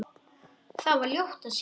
Þar var ljótt að sjá.